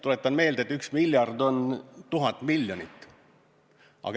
Tuletan meelde, et üks miljard on tuhat miljonit.